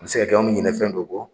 A bɛ se ka kɛ an bɛ ɲinɛ fɛn dɔ kɔ